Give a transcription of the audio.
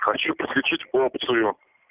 хочу подключить опцию